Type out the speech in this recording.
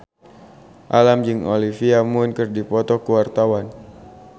Alam jeung Olivia Munn keur dipoto ku wartawan